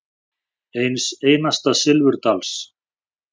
Eins einasta silfurdals.